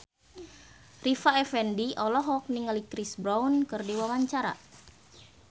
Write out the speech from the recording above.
Rita Effendy olohok ningali Chris Brown keur diwawancara